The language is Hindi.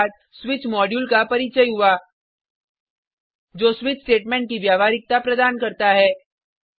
उसके बाद स्विच मॉड्यूल का परिचय हुआ जो स्विच स्टेटमेंट की व्यावहारिकता प्रदान करता है